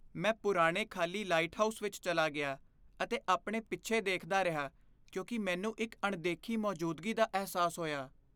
ਮੈਂ ਪੁਰਾਣੇ ਖ਼ਾਲੀ ਲਾਈਟਹਾਊਸ ਵਿੱਚ ਚਲਾ ਗਿਆ ਅਤੇ ਆਪਣੇ ਪਿੱਛੇ ਦੇਖਦਾ ਰਿਹਾ ਕਿਉਂਕਿ ਮੈਨੂੰ ਇੱਕ ਅਣਦੇਖੀ ਮੌਜੂਦਗੀ ਦਾ ਅਹਿਸਾਸ ਹੋਇਆ।